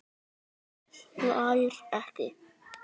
Hann hlær ekki.